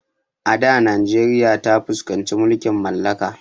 A da najeriya ta fuskanci mulkin mallaka